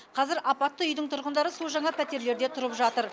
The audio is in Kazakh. қазір апатты үйдің тұрғындары су жаңа пәтерлерде тұрып жатыр